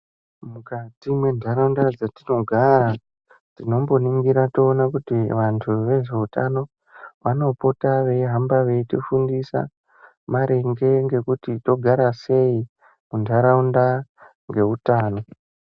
Mukati mentaraunda dzetinogara, tinomboningira toona kuti vantu vezveutano vanopota veihamba veitifundisa maringe ngekuti togara sei muntaraunda ngeutano.